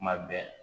Kuma bɛɛ